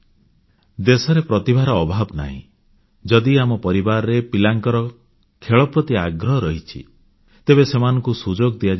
ଦେଶରେ ପ୍ରତିଭାର ଅଭାବ ନାହିଁ ଯଦି ଆମ ପରିବାରରେ ପିଲାଙ୍କର ଖେଳପ୍ରତି ଆଗ୍ରହ ଅଛି ତେବେ ସେମାନଙ୍କୁ ସୁଯୋଗ ଦିଆଯିବା ଉଚିତ